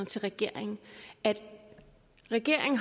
til regeringen at regeringen